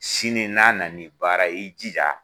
Sini n'a na ni baara ye i jija